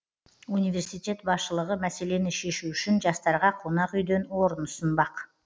университет басшылығы мәселені шешу үшін жастарға қонақ үйден орын ұсынбақ